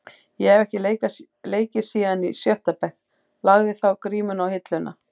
Ég hef ekki leikið síðan í sjötta bekk, lagði þá grímuna á hilluna.